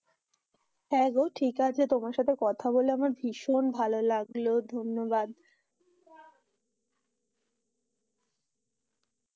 হ্যাঁ, গো ঠিক আছে তোমার সাথে কথা বলে আমার ভীষণ ভালো লাগলো, ধন্যবাদ।